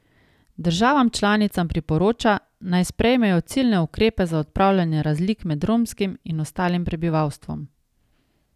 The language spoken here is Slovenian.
Državam članicam priporoča, naj sprejmejo ciljne ukrepe za odpravljanje razlik med romskim in ostalim prebivalstvom.